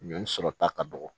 Ɲɔ sɔrɔ ta ka dɔgɔ